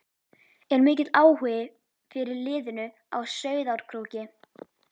Er mikill áhugi fyrir liðinu á Sauðárkróki?